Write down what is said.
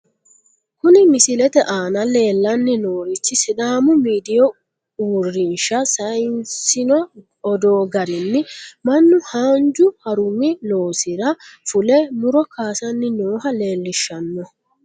Kuni misilete aana leellanni noorichi sidaamu miidiyu uurrinsha sayiissino odoo garinni mannu haanju harummi loosira fule , muro kaasanni nooha leellishshanno.